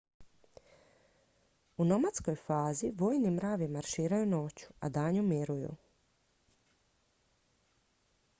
u nomadskoj fazi vojni mravi marširaju noću a danju miruju